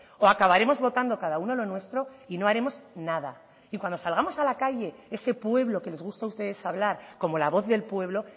o acabaremos votando cada uno lo nuestro y no haremos nada y cuando salgamos a la calle ese pueblo que les gusta a ustedes hablar como la voz del pueblo